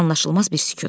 Anlaşılmaz bir sükut.